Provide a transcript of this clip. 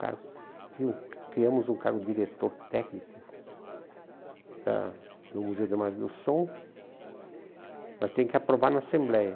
cargo, tinha. Criamos um cargo de diretor técnico da do Museu de Margem do Som, mas tem que aprovar na Assembleia.